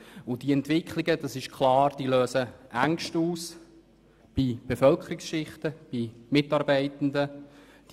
Diese Entwicklungen lösen verständlicherweise Ängste in Kreisen der Bevölkerung und bei Mitarbeitenden aus.